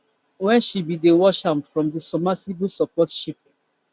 wen she bin dey watch am from di submersible support ship ship